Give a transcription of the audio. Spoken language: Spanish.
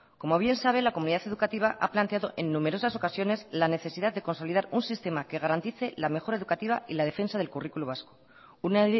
como bien sabe la comunidad educativa ha planteado en numerosas ocasiones la necesidad de consolidar un sistema que garantice la mejora educativa y la defensa del currículo vasco una